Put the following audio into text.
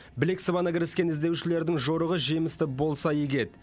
білек сыбана кіріскен іздеушілердің жорығы жемісті болса игі еді